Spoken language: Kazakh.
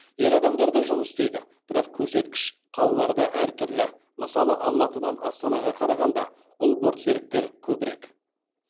ер адамдар да жұмыс істейді бірақ көрсеткіш қалаларда әр түрлі мысалы алматыдан астанаға қарағанда ұл бортсеріктер көбірек